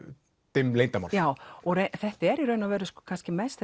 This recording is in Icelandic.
dimm leyndarmál þetta er í raun og veru kannski mest